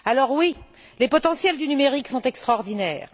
Oui, les potentiels du numérique sont extraordinaires.